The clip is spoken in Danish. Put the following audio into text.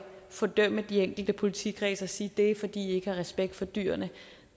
fordømme de enkelte politikredse og sige at det er fordi de ikke har respekt for dyrene